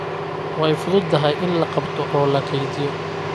Way fududahay in la qabto oo la kaydiyo.